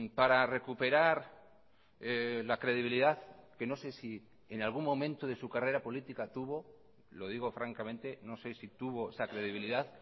para recuperar la credibilidad que no sé si en algún momento de su carrera política tuvo lo digo francamente no sé si tuvo esa credibilidad